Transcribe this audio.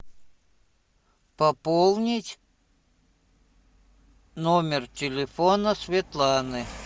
пополнить номер телефона светланы